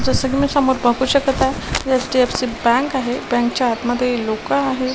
जस की मी समोर पाहू शकत आहे एच_डी_एफ_सी बँक आहे बँक चा आतमध्ये लोक आहे.